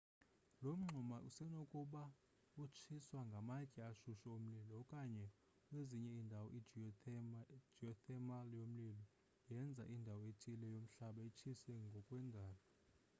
lo mngxuma usenokuba utshiswa ngamatye ashushu omlilo okanye kwezinye indawo i-geothermal yomlilo yenza indawo ethile yomhlaba itshise ngokwendalo